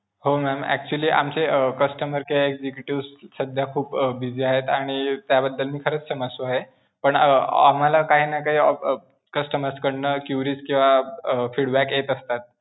हो ma'am. actually आमचे um customer care executives सध्या खूप अं busy आहेत आणि त्याबद्दल मी खरंच क्षमस्व आहे. पण अं आम्हाला काही ना काही अं customer कडनं queries किंवा अं feedback येत असतात.